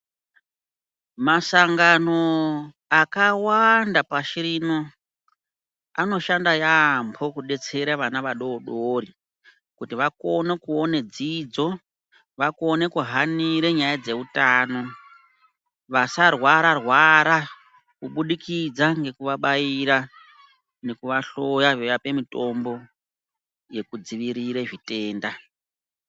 Masangano akawanda pashi rino anoshanda yambo kudetsera vana vadodori kuti akone kuona dzidzo, vakone kuhanira nyaya dzeutano vasarwara rwara kuburikidza ngekuabaira nekuahloya veiapa mitombo yekudzivirire zvitenda.